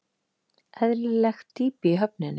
Eðlilegt dýpi í höfninni